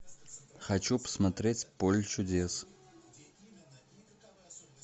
хочу посмотреть поле чудес